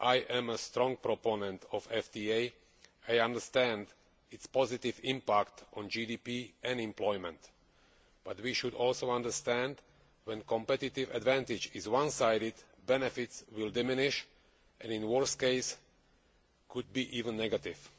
I am a strong proponent of FTAs. I understand their positive impact on GDP and employment, but we should also understand that, when the competitive advantage is one sided, benefits will diminish and, in the worst case, could even be negative.